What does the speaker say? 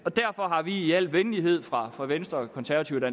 derfor har vi i al venlighed fra fra venstres og konservatives og